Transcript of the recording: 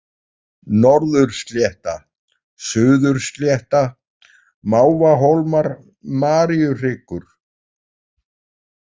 Norðurslétta, Suðurslétta, Mávahólmar, Maríuhryggur